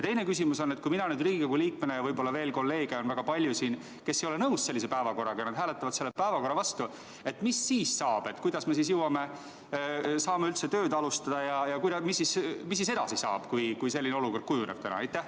Teine küsimus on see, et kui mina Riigikogu liikmena ei ole nõus ja võib-olla neid kolleege on siin väga palju, kes ei ole nõus sellise päevakorraga, ja me hääletame selle päevakorra vastu, mis siis saab, kuidas me saame üldse tööd alustada ja mis edasi saab, kui selline olukord täna kujuneb?